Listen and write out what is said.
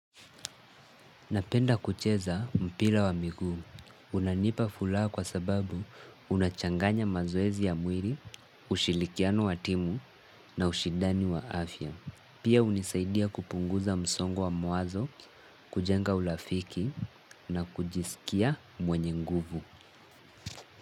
Napenda kucheza mpira wa miguu. Unanipa furaha kwa sababu unachanganya mazoezi ya mwili, ushilikiano wa timu na ushidani wa afya. Pia hunisaidia kupunguza msongo wa mawazo, kujenga ulafiki na kujisikia mwenye nguvu.